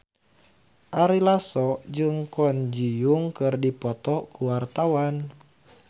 Ari Lasso jeung Kwon Ji Yong keur dipoto ku wartawan